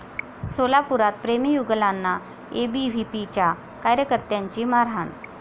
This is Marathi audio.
सोलापुरात प्रेमी युगुलांना एबीव्हीपीच्या कार्यकर्त्यांची मारहाण